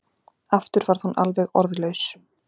Aftur varð hún alveg orðlaus.